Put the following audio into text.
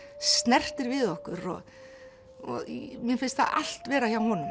snertir við okkur mér finnst það allt vera hjá honum